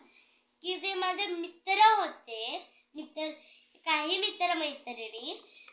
की जे माझे मित्र होते होते काही मित्र मैत्रिणी